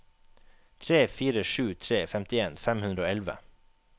tre fire sju tre femtien fem hundre og elleve